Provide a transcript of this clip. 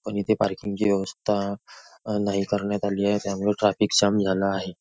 पण इथे पार्किंगची ची व्यवस्था नाही करण्यात आली आहे त्यामुळे ट्राफिक जाम झाला आहे.